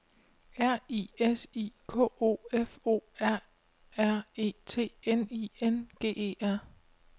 R I S I K O F O R R E T N I N G E R